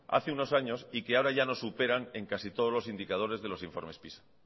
hace unos años y que ahora ya nos superan en casi todos los indicadores de los informes pisa